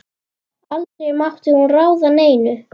Aldrei mátti hún ráða neinu.